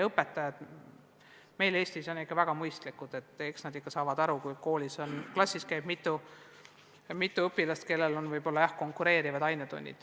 Õpetajad on meil Eestis ikka väga mõistlikud, eks nad saavad aru, kui klassis käib mitu õpilast, kellel on õdede-vendadega võib-olla konkureerivad ainetunnid.